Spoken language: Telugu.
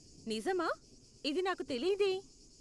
నిజామా? ఇది నాకు తెలీదే!